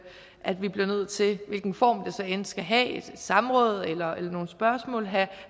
at vi bliver nødt til i hvilken form det så end skal have et samråd eller nogle spørgsmål at have